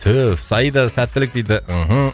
саида сәттілік дейді мхм